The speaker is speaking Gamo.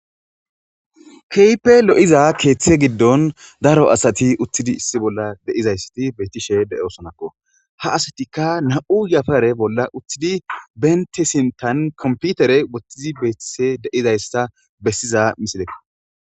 keype lo7iza keeththe giddon daro asati uttidi issi bolla de7izayssati beettishe de7eosonakko ha asatikka na7u yafare bolla utthidi benti sintan komputere wothtizi beettise deizaysa bessiza misile